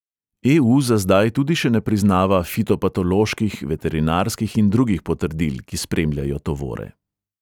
E|u za zdaj tudi še ne priznava fitopatoloških, veterinarskih in drugih potrdil, ki spremljajo tovore.